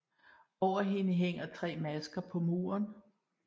Over hende hænger tre masker på muren